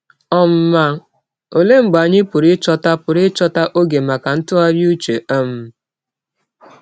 um Ma ọlee mgbe anyị pụrụ ịchọta pụrụ ịchọta ọge maka ntụgharị ụche um?